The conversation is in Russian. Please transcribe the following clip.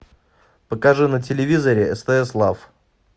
покажи на телевизоре стс лав